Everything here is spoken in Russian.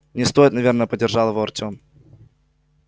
не стоит наверное поддержал его артём